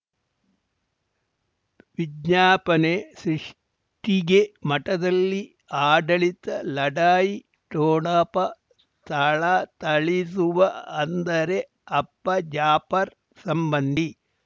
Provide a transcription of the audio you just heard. ವಿಜ್ಞಾಪನೆ ಸೃಷ್ಟಿಗೆ ಮಠದಲ್ಲಿ ಆಡಳಿತ ಲಢಾಯಿ ಠೋಣಪ ಥಳಥಳಿಸುವ ಅಂದರೆ ಅಪ್ಪ ಜಾಫರ್ ಸಂಬಂಧಿ